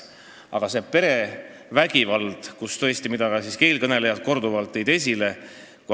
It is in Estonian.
Aga ka eelkõnelejad tõid korduvalt esile perevägivalda.